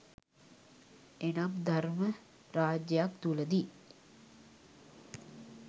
එනම් ධර්ම රාජ්‍යයක් තුළදී